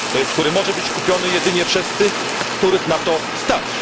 który może być kupiony jedynie przez tych, których na to stać.